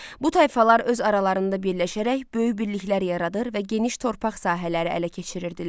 Bu tayfalar öz aralarında birləşərək böyük birliklər yaradır və geniş torpaq sahələri ələ keçirirdilər.